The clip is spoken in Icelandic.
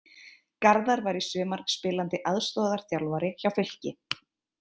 Garðar var í sumar spilandi aðstoðarþjálfari hjá Fylki.